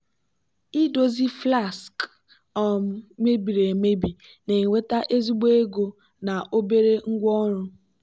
idozi flasks um mebiri emebi na-eweta ezigbo ego na obere ngwaọrụ.